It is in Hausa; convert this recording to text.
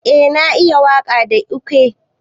Eh na iya waka da ekwe.